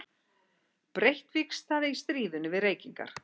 Breytt vígstaða í stríðinu við reykingar.